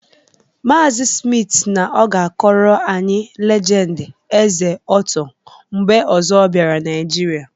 Maazị Smith siri na ọ ga-akọrọ anyị legendi Eze ọtọ mgbe ọzọ ọ bịara Naịjịrịa.